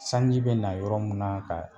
Sanji be na yɔrɔ mun na ka